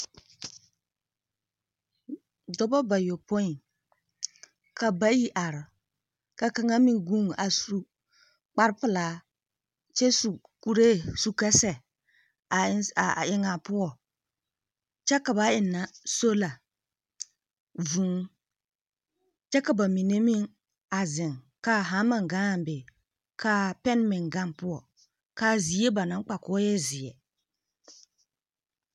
Dͻba bayopoi, ka bayi are ka kaŋa meŋ guuni a su kpare pelaa, kyԑ su kuree su ka sԑ aa a eŋaa poͻŋ, kyԑ ka ba ennԑ sola, vũũ kyԑ ka ba mine meŋ a zeŋ kaa hama gaŋaa be kaa pԑne meŋ gaŋ poͻ. Ka a zie ba naŋ kpa koo e zeԑ.